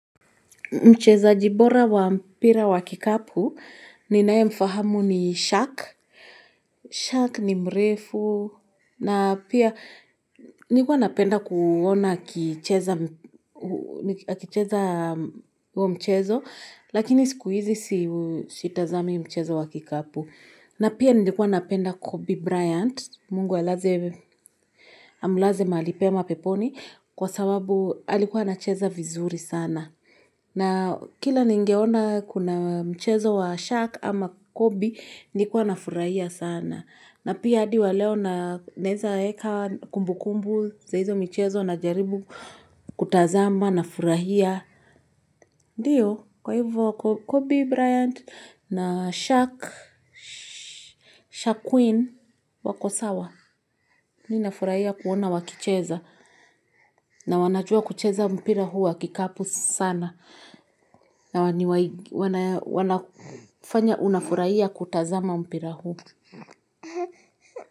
Mchezaji bora wa mpira wa kikapu, ninayemfahamu ni Shaq, Shaq ni mrefu, na pia nilikua napenda kuona akicheza akicheza huo mchezo, lakini sikuizi sitazami mchezo wa kikapu. Na pia nilikua napenda Kobe Bryant, mungu alaze amlaze mahali pema peponi, kwa sababu alikuwa anacheza vizuri sana. Na kila ningeona kuna mchezo wa shaq ama Kobe, nilikuwa nafurahia sana. Na pia hadi wa leo naweza weka kumbukumbu za hizo michezo na jaribu kutazama nafurahia. Ndiyo, kwa hivyo Kobe Bryant na Shaq, Shaquille wako sawa, ninafurahia kuona wakicheza, na wanajua kucheza mpira huu wa kikapu sana, na wanafanya unafurahia kutazama mpira huu.